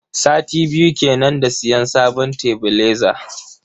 Sati biyu kenan da siyan sabon tebileza.